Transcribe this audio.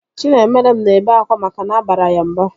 Chinaemerem na-ebe akwa maka na abara ya mba